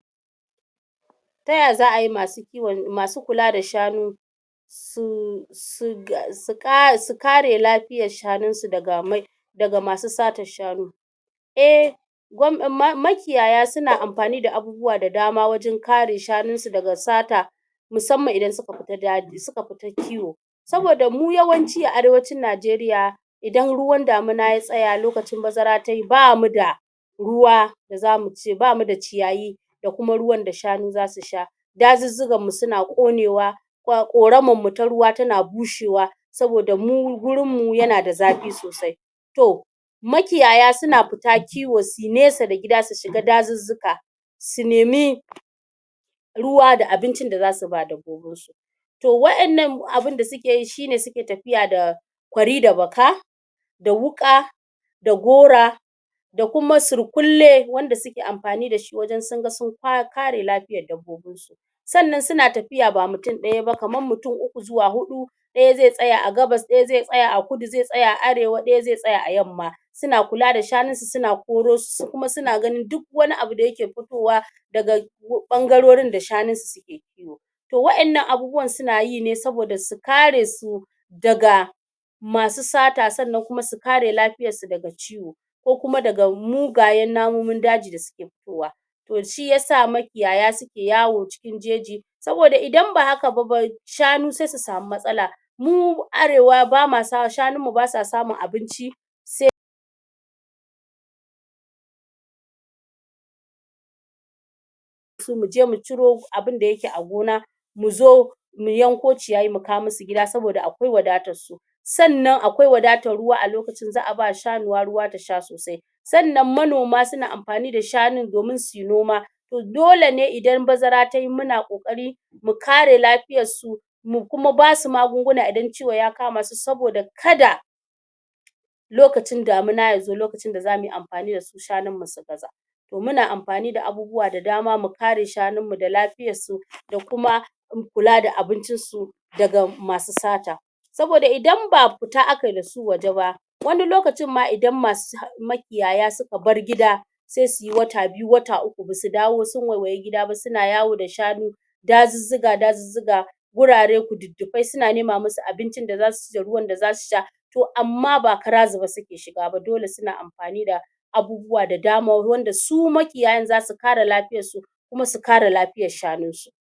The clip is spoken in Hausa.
taya za'a yi masu kiwon masu kula da shanu su su kare lafiyar shanun su daga daga masu satar shanu eh makiyaya suna amfani da abubuwa da dama wajen kare shanun su daga sata musamman idan suka fita daji in suka fita kiwo saboda mu yawanci a arewacin Najeriya idan ruwan damina ya tsaya lokacin bazara tayi bamu da ruwa bamu da ciyayi da kuma ruwan da shanu zasu sha dazuzzukan mu suna ƙonewa ƙoramar mu ta ruwa tana bushewa saboda mu gurin mu yana da zafi sosai to makiyaya suna fita kiwo suyi nesa da gida su shiga dazuzzuka su nemi ruwa da abincin da zasu ba dabbobin su to wa'ennan abun da suke yi shine suke tafiya da kwari da baka da wuƙa da gora da kuma surƙulle wanda suke amfani da shi wajen sun ga sun kare lafiyar dabbobin su sannan suna tafiya ba mutum ɗaya ba kamar mutum uku (3) zuwa huɗu (4) ɗaya ze tsaya a gabas ɗaya ze tsaya a kudu ze tsaya a arewa ɗaya ze tsaya a yamma suna kula da shanun su suna koro su su kuma suna ganin duk wani abu da yake fitowa daga ɓangarorin da shanun su suke kiwo to wa'ennan abubuwan suna yi ne saboda su kare su daga masu sata sannan kuma su kare lafiyar su daga ciwo ko kuma daga mugayen namomin daji da suke fitowa to shi yasa makiyaya suke yawo cikin jeji saboda idan ba haka ba shanu se su samu matsala mu arewa shanun mu basa samun abinci se mu je mu ciro abinda yake a gona mu zo mu yanko ciyayi mu kawo mu su gida saboda akwai wadatar su sannan akwai wadatar ruwa a lokacin za'a ba wa saniya ruwa ta sha sosai sannan manoma suna amfani da shanun domin suyi noma dole ne idan bazara tayi muna ƙoƙari mu kare lafiyar su mu kuma basu magunguna idan ciwo ya kama su saboda kada lokacin damina ya zo lokacin da zamu yi amfani da su shanun mu su gaza to muna amfani da abubuwa da dama mu kare shanun mu da lafiyar su da kuma kula da abincin su daga masu sata sboda idan ba fita aka yi da su waje ba wani lokacin ma idan ma su makiyaya suka bar gida se suyi wata biyu (2) wata uku (3) basu dawo sun waiwayi gida ba suna yawo da shanu dazuzzuka-dazuzzuka wurare kududdupai suna nema mu su abincin da za su ci da ruwan da za su sha to amma ba kara zube suke shiga ba dole suna amfani da abubuwa da dama wanda su makiyayan za su kare lafiyar su kuma su kare lafiyar shanun su